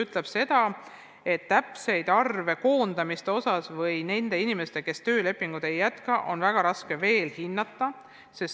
Tuleb öelda, et täpseid arve koondamise kohta, selle kohta, kui paljude inimeste töölepingut ei jätkata, on väga raske praegu öelda.